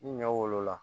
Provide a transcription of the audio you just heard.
Ni ɲɔ wolola